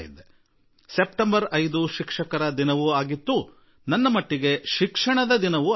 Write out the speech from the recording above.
ನನ್ನ ಪಾಲಿಗೆ ಸೆಪ್ಟೆಂಬರ್ 5 ಶಿಕ್ಷಕರ ದಿನವೂ ಹೌದು ಮತ್ತು ನನಗೆ ಶಿಕ್ಷಣ ದಿವಸವೂ ಆಗಿತ್ತು